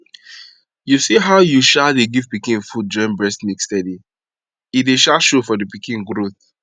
you see how u um dey give pikin food join breast milk steady e dey um show for the pikin growth